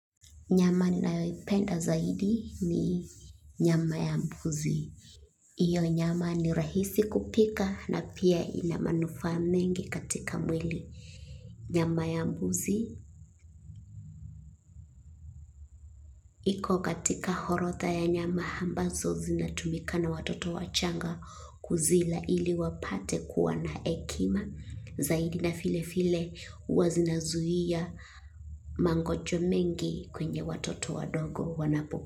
Nyama ninayoipenda zaidi ni nyama ya mbuzi. Hiyo nyama ni rahisi kupika na pia ina manufaa mengi katika mwili. Nyama ya mbuzi, iko katika orodha ya nyama ambazo zinatumika na watoto wachanga kuzila ili wapate kuwa na hekima. Zaidi na vile vile huwa zinazuia mangojwa mengi kwenye watoto wadogo wanapokua.